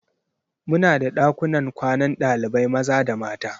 Muna da ɗakunan kwanan ɗalibai maza da mata.